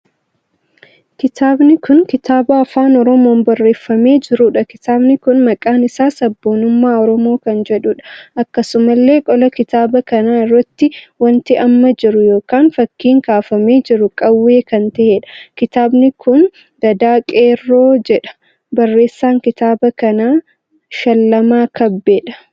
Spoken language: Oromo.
Kitaabni kun kitaaba Afaan Oromoon barreeffamee jirudha. kitaabni kun maqaan isaa sabboonummaa Oromoo kan jedhudha. akkasumallee qola kitaaba kanaa irratti wanti amma jiru kun ykn fakkii kaafamee jiru qaawwee kan taheedha. kitaabni kun gadaa qeerroo jedha. barreessaan kitaaba kanaa Shallamaa Kabbeedha.